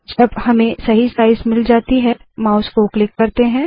जब हमें सही साइज़ मिल जाता है माउस को क्लिक करते है